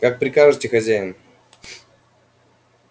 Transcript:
как прикажете хозяин